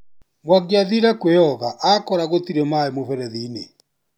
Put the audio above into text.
Mwangi athire kwĩyoga akora gũtirĩ maĩ mũferethi-inĩ.